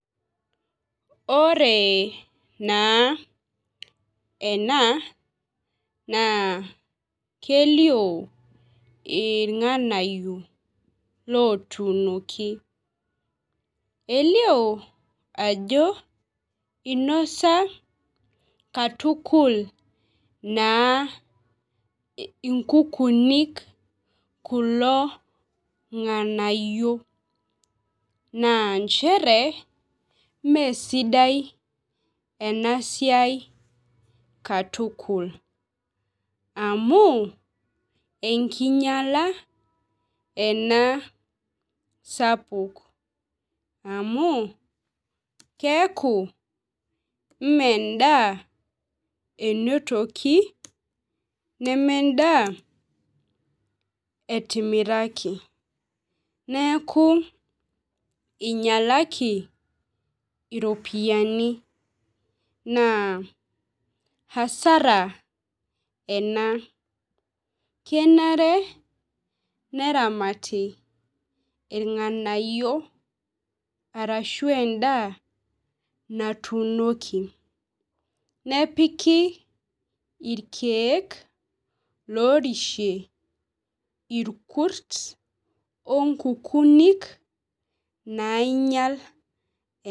Ore naa enaa naa kelio irng'anayio lotunoki. Elio ajo inosa katukul inkukunik kulo ng'anayio naa nchere mee sidai ena siai katukul amu enkinyala enaa sapuk. Amu keeku mee edaa enotoki neme edaa etimaraki. Nekuu inyalaki iropini. Naa hasara ena. Kenare neramati irnganayio ashu edaa natunoki. Nepiki irkeek lorishie irkurt o nkukunik nainyal.